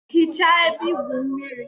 Hichaa ebe igwu mmiri!